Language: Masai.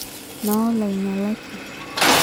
Noo loinyalaki.